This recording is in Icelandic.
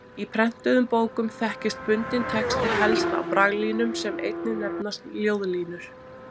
Í prentuðum bókum þekkist bundinn texti helst á braglínum sem einnig nefnast ljóðlínur.